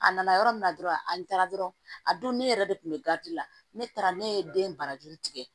A nana yɔrɔ min na dɔrɔn an taara dɔrɔn a don ne yɛrɛ de kun be garidi la ne taara ne ye den barajuru tigɛ